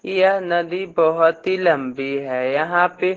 यह नदी बहोत ही लंबी है यहाँ पे--